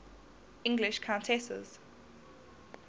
english countesses